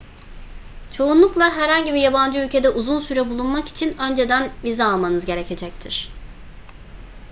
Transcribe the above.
çoğunlukla herhangi bir yabancı ülkede uzun süre bulunmak için önceden vize almanız gerekecektir